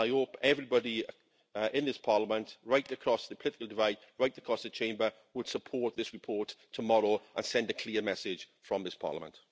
I hope everybody in this Parliament, right across the political divide, right across the Chamber, would support this report tomorrow and send a clear message from this Parliament.